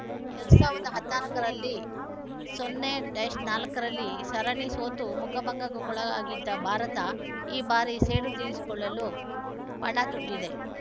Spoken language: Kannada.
ಎರಡ್ ಸಾವಿರದ ಹದಿನಾಲ್ಕ ರಲ್ಲಿ ಸೊನ್ನೆ ನಾಲ್ಕ ರಲ್ಲಿ ಸರಣಿ ಸೋತು ಮುಖಭಂಗಕ್ಕೊಳಗಾಗಿದ್ದ ಭಾರತ ಈ ಬಾರಿ ಸೇಡು ತೀರಿಸಿಕೊಳ್ಳಲು ಪಣತೊಟ್ಟಿದೆ